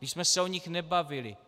Když jsme se o nich nebavili.